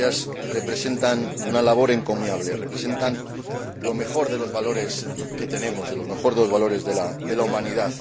creo que ellas representan una labor encomiable, representan lo mejor de los valores que tenemos, lo mejor de los valores de la humanidad.